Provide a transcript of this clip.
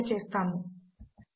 అనే టెక్స్ట్ ఉన్నది